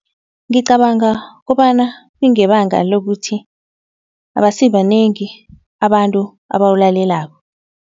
Ngicabanga kobana kungebanga lokuthi abasibanengi abantu abawulalelako.